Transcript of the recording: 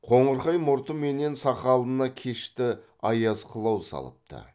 қоңырқай мұрты менен сақалына кешті аяз қылау салыпты